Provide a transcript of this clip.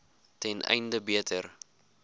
ten einde beter